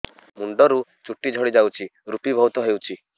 ମୁଣ୍ଡରୁ ଚୁଟି ଝଡି ଯାଉଛି ଋପି ବହୁତ ହେଉଛି